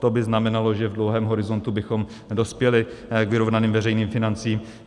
To by znamenalo, že v dlouhém horizontu bychom dospěli k vyrovnaným veřejným financím.